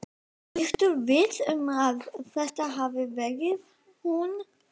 Ertu viss um að þetta hafi verið hún?